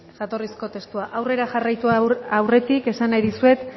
jatorrizko testua aurrera jarraitu aurretik esan nahi dizuet